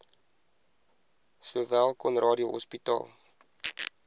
sowel conradie hospitaal